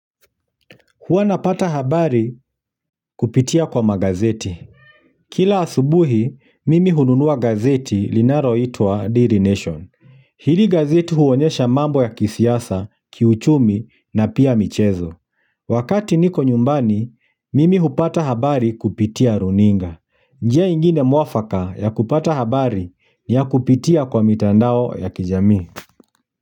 Huwa napata habari kupitia kwa magazeti. Kila asubuhi, mimi hununua gazeti linaloitwa Daily Nation. Hili gazeti huonyesha mambo ya kisiasa, kiuchumi na pia michezo. Wakati niko nyumbani, mimi hupata habari kupitia runinga. Njia ingine mwafaka ya kupata habari ni ya kupitia kwa mitandao ya kijamii.